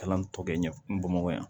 Kalan tɔ kɛ ɲɛ bamakɔ yan